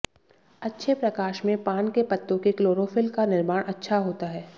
अच्छे प्रकाश में पान के पत्तों के क्लोरोफिल का निर्माण अच्छा होता है